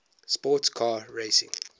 sports car racing